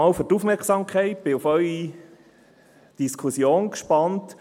Ich danke für Ihre Aufmerksamkeit und bin auf die Diskussion gespannt.